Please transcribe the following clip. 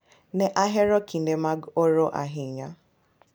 Ne ahero kinde mag oro ahinya.